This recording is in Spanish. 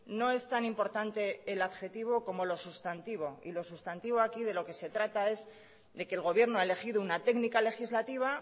no es tan importante el adjetivo como lo sustantivo y lo sustantivo aquí de lo que se trata es de que el gobierno ha elegido una técnica legislativa